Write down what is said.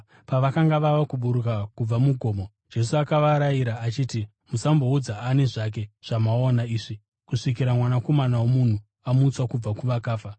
Pavakanga vava kuburuka kubva mugomo, Jesu akavarayira achiti, “Musamboudza ani zvake zvamaona izvi kusvikira Mwanakomana woMunhu amutswa kubva kuvakafa.”